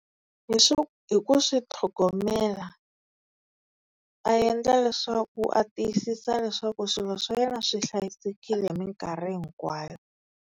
hi ku swi tlhogomela a endla leswaku a tiyisisa leswaku swilo swa yena swi hlayisekile hi minkarhi hinkwayo.